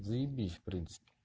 заебись в принципе